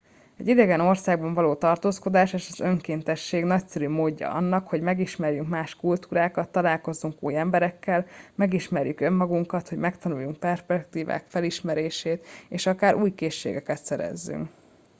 egy idegen országban való tartózkodás és az önkéntesség nagyszerű módja annak hogy megismerjünk más kultúrákat találkozunk új emberekkel megismerjük önmagukat hogy megtanuljuk perspektívák felismerését és akár új készségeket szerezzünk